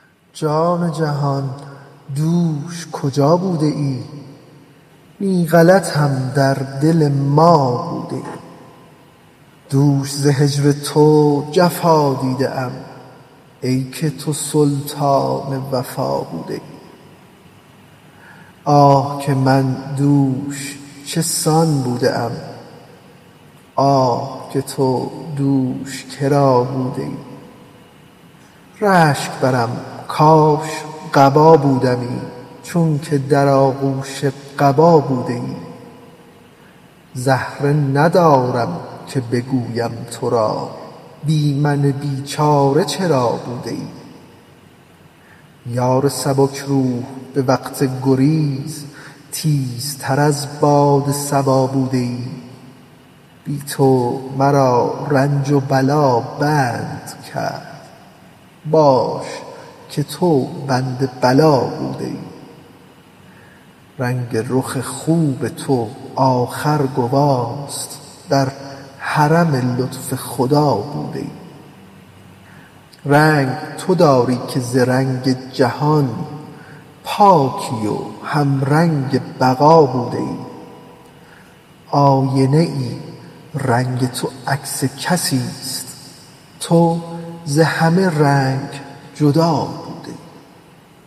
جان و جهان دوش کجا بوده ای نی غلطم در دل ما بوده ای دوش ز هجر تو جفا دیده ام ای که تو سلطان وفا بوده ای آه که من دوش چه سان بوده ام آه که تو دوش کرا بوده ای رشک برم کاش قبا بودمی چونک در آغوش قبا بوده ای زهره ندارم که بگویم ترا بی من بیچاره چرا بوده ای یار سبک روح به وقت گریز تیزتر از باد صبا بوده ای بی تو مرا رنج و بلا بند کرد باش که تو بند بلا بوده ای رنگ رخ خوب تو آخر گواست در حرم لطف خدا بوده ای رنگ تو داری که ز رنگ جهان پاکی و همرنگ بقا بوده ای آینه ای رنگ تو عکس کسیست تو ز همه رنگ جدا بوده ای